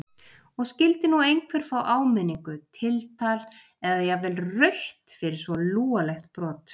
Og skyldi nú einhver fá áminningu, tiltal eða jafnvel rautt fyrir svo lúalegt brot?